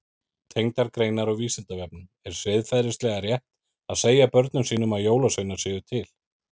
Tengdar greinar á Vísindavefnum Er siðferðilega rétt að segja börnum sínum að jólasveinar séu til?